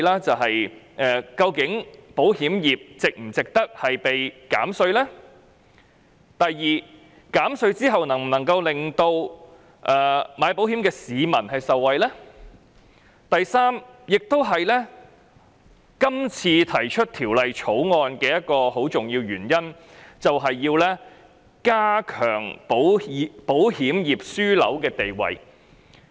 第一，究竟保險業是否值得獲減稅；第二，減稅後能否令購買保險的市民受惠；以及第三，今次提出《條例草案》一個很重要的原因，是要鞏固香港作為保險業樞紐的地位。